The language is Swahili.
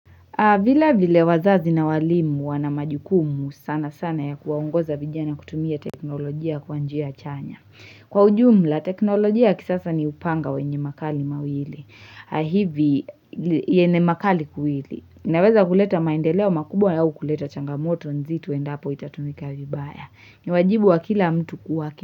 Vilavile wazazi na walimu wana majukumu sanasana ya kuwaongoza vijana kutumia teknolojia kwa njia chanya. Kwa ujumla teknolojia ya kisasa ni upanga wenye makali mawili. Hivi yenye makali kuwili. Inaweza kuleta maendeleo makubwa au kuleta changamoto nzito endapo itatumika vibaya. Ni wajibu wa kila mtu kuwaki.